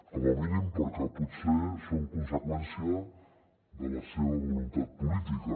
com a mínim perquè potser són conseqüència de la seva voluntat política